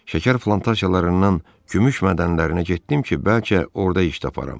Şəkər plantasiyalarından gümüş mədənlərinə getdim ki, bəlkə orda iş taparam.